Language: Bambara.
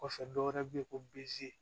Kɔfɛ dɔwɛrɛ bɛ ye ko bzi